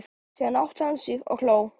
Síðan áttaði hann sig og hló.